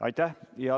Aitäh!